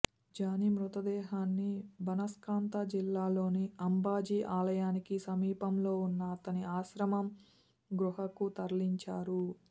Johnny మృతదేహాన్ని బనస్కాంత జిల్లాలోని అంబాజీ ఆలయానికి సమీపంలో ఉన్న అతని ఆశ్రమం గుహకు తరలించారు